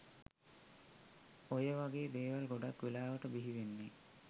ඔය වගේ දේවල් ගොඩක් වෙලාවට බිහිවෙන්නෙ